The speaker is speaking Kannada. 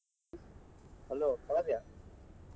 Hello ಕಾವ್ಯ.